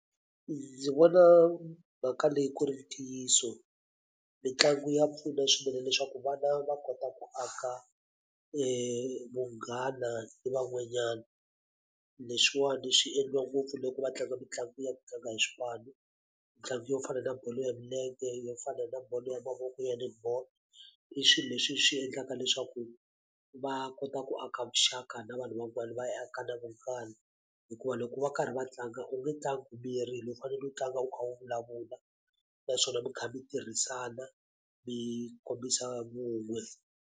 Ndzi vona mhaka leyi ku ri ntiyiso mitlangu ya pfuna swinene leswaku vana va kota ku aka vunghana ni van'wanyana leswiwani swi endliwa ngopfu loko va tlanga mitlangu ya ku tlanga hi swipanu mitlangu yo fana na bolo ya milenge yo fana na bolo ya mavoko ya netball i swi leswi swi endlaka leswaku va kota ku a ka vuxaka na vanhu van'wana va yi aka na hikuva loko va karhi va tlanga u nge tlangi u miyerile u faneleke u tlanga u kha u vulavula naswona mi kha mi tirhisana mi kombisa vun'we.